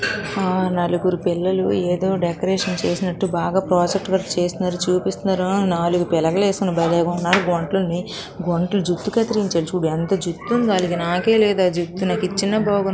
ఆ నలుగురు పిల్లల ఏదో డెకరేషన్ చేసినట్టు బాగా ప్రాజెక్టు వర్క్ చేసినారు చూపిస్తున్నారు. నాలుగు పిలకలు ఏసుకొని బలేగున్నారు. గుంటననే గుంటలు జుట్టు కత్తిరించేయాలి చూడు ఎంత జుట్టు ఉందో నాకే లేదా జుట్టు నాకు ఇచ్చిన బాగుండు.